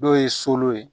Dɔw ye so ye